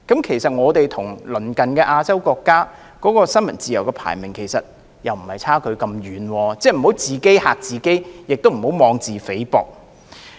其實，香港與鄰近亞洲國家的新聞自由排名相差不遠，我們不應自己嚇自己，亦不應妄自菲薄。